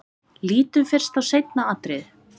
Lítum fyrst á seinna atriðið.